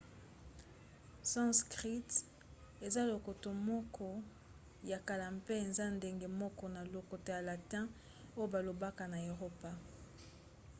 sanskrit eza lokota moko ya kala mpe eza ndenge moko na lokota ya latin oyo balobaka na eropa